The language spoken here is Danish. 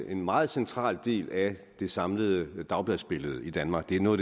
en meget central del af det samlede dagbladsbillede i danmark det er noget